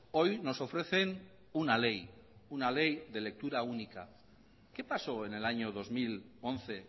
hoy nos ofrecen una ley una ley de lectura única qué pasó en el año dos mil once